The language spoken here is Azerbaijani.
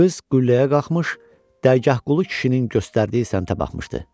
Qız qülləyə qalxmış, Dərgahqulu kişinin göstərdiyi səmtə baxmışdı.